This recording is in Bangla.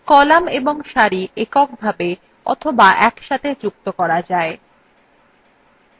কলাম এবং সারি এক এক করে অথবা একসাথে যুক্ত করা যায়